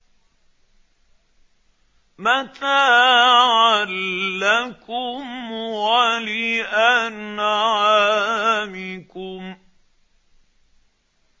مَتَاعًا لَّكُمْ وَلِأَنْعَامِكُمْ